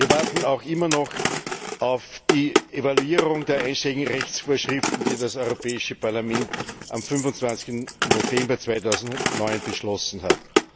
Wir warten auch immer noch auf die Evaluierung der einschlägigen Rechtsvorschriften, die das Europäische Parlament am 25. November 2009 beschlossen hat.